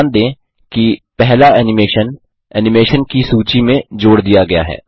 ध्यान दें कि पहला एनिमेशन एनिमेशन की सूची में जोड़ दिया गया है